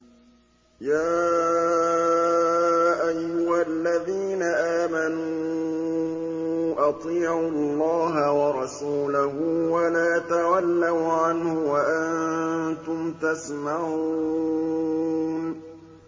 يَا أَيُّهَا الَّذِينَ آمَنُوا أَطِيعُوا اللَّهَ وَرَسُولَهُ وَلَا تَوَلَّوْا عَنْهُ وَأَنتُمْ تَسْمَعُونَ